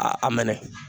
A a mɛnɛ